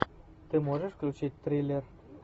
ты можешь включить триллер